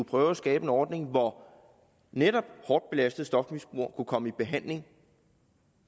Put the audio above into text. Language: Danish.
prøve at skabe en ordning hvor netop hårdt belastede stofmisbrugere kan komme i behandling